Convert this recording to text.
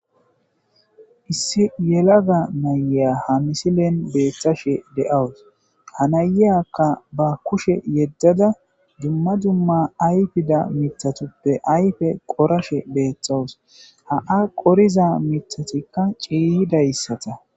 Issi yelaga naya ha misilen beeththashe de'awus ha nayayakka ba kushe yeddada dumma dumma ayfida mitatuppe ayfe qorashe beethtxawus ha'a qoriza mitatikka ciiyidayssata